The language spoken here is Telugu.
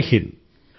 జై హింద్